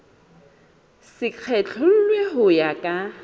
se kgethollwe ho ya ka